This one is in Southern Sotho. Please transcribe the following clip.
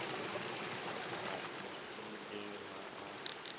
a e siileng ha a